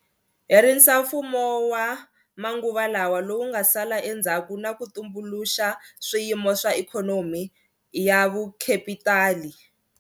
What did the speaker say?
Herisa mfumo wa manguva lawa lowu nga sala endzhaku na ku tumbuluxa swiyimo swa ikhonomi ya vukhepitali.